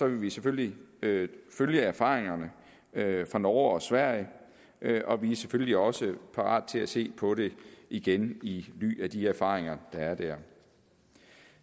vi selvfølgelig følge erfaringerne fra norge og sverige og vi er selvfølgelig også parate til at se på det igen i lyset af de erfaringer der er dér